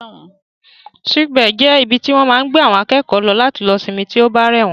Sick bay jẹ́ ibi tí wọ́n máa ń gbé àwọn akẹ́kọ̀ọ́ lọ láti lọ sinmi tí ó bá rẹ̀ wọ́n